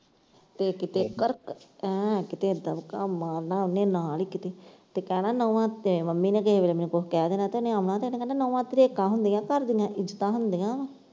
ਤੇ ਗੜ੍ਹਕ ਏਂ ਕਿਤੇ ਦੱਬਕਾ ਮਾਰਨਾ ਉਹਨੇ ਨਾਲ ਈ ਕਿਤੇ ਤੇ ਕਹਿਣਾ ਨੋਆਂ, ਮੰਮੀ ਨੇ ਕਿਤੇ ਮੇਰੀ ਨੇ ਕੁਛ ਕਹਿ ਦੇਣਾ ਤੇ ਉਹਨੇ ਕਹਿਣਾ ਨੋਆਂ ਧਰੇਕਾਂ ਹੁੰਦੀਆਂ ਘਰਦੀਆਂ ਇੱਜਤਾਂ ਹੁੰਦੀਆਂ ਵਾਂ।